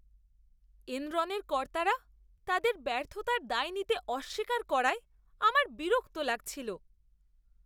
এনরনের কর্তারা তাদের ব্যর্থতার দায় নিতে অস্বীকার করায় আমার বিরক্তি লাগছিল।